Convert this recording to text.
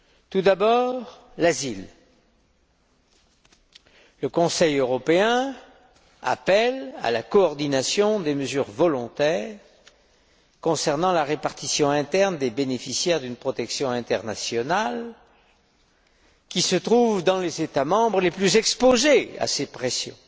Tout d'abord, l'asile le Conseil européen appelle à la coordination des mesures volontaires concernant la répartition interne des bénéficiaires d'une protection internationale qui se trouvent dans les États membres les plus exposés à ces pressions.